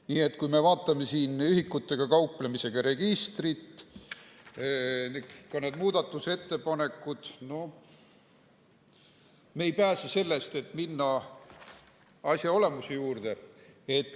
Nii et kui me vaatame ühikutega kauplemise registrit, ka neid muudatusettepanekuid, siis me ei pääse sellest, et minna asja olemuse juurde.